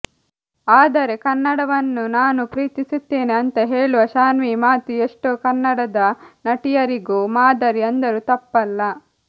ಆದರೆ ಕನ್ನಡವನ್ನು ನಾನು ಪ್ರೀತಿಸುತ್ತೇನೆ ಅಂತ ಹೇಳುವ ಶಾನ್ವಿ ಮಾತು ಎಷ್ಟೋ ಕನ್ನಡದ ನಟಿಯರಿಗೂ ಮಾದರಿ ಅಂದರೂ ತಪ್ಪಲ್ಲ